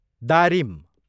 दारिम